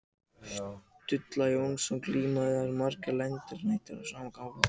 Stulla Jónsson glíma því þeir vissu að margir landar mættu þar í sama tilgangi.